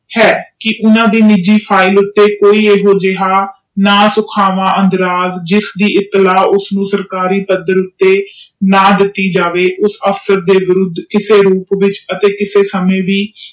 ਹੈ ਜਿਨ੍ਹਾਂ ਵੀ ਨਿਜੀ ਫਿਲੇ ਅਗੇ ਨਾ ਸੁਖਾਵਾਂ ਸੁਲਝਣ ਉਤੇ ਨਾ ਦਿਤੀ ਜਾਵੇ ਉਸ ਆਫ ਦੇ ਰੂਪ ਚ ਕਿਸੇ ਸਮੇ ਵੀ